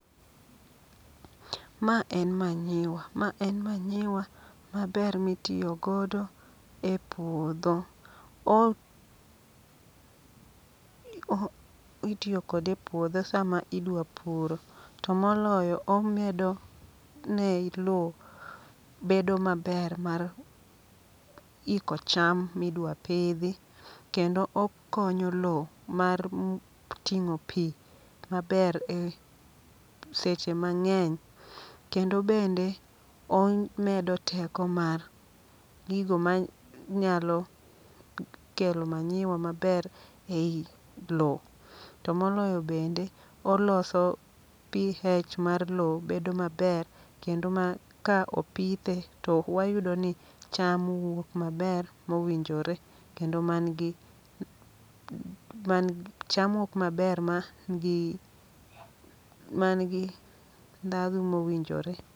Ma en manyiwa, ma en manyiwa maber mitiyogodo e puodho. O, o itiyo kode e puodho sama idwa puro. To moloyo omedo ne lo bedo maber mar iko cham midwa pidhi. Kendo okonyo lo mar ting'o pi maber e seche mang'eny. Kendo bende o medo teko mar gigo ma nyalo kelo manyiwa maber ei lo. To moloyo bende, oloso pH mar lo bedo maber, kendo ma ka opithe to wayudo ni cham wuok maber mowinjore. Kendo man gi man gi, cham wuok maber ma n gi, man gi ndhadhu mowinjore.